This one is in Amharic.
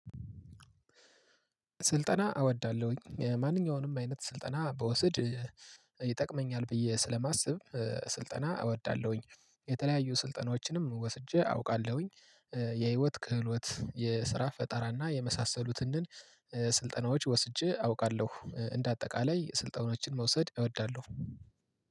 ስልጠና አወዳለሁኝ ማንኛውንም አይነት ስልጠና በውሰድ ይጠቅመኛል ብዬ ስለማስብ ስልጠና እወዳለሁኝ። የተለያዩ ስልጠናዎችንም ወስጄ አውቃለሁኝ። የህይወት ክህሎት የስራ ፈጣራና የመሳሰሉትን። ስልጠናዎች ወስጄ አውቃለሁ እንደ አጠቃላይ ስልጠናዎችን መውሰድ እወዳለሁ።